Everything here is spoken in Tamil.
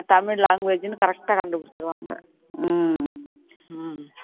tamil language ன்னு correct ஆ கண்டுபிடிச்சிடுவாங்க